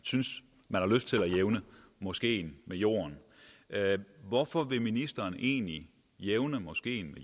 har lyst til jævne moskeen med jorden hvorfor vil ministeren så egentlig jævne moskeen